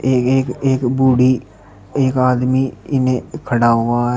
ये एक एक बूढ़ी एक आदमी इन्हें खड़ा हुआ है।